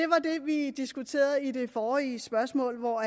vi diskuterede i det forrige spørgsmål hvor